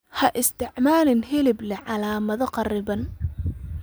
Ha isticmaalin hilib leh calaamado kharriban.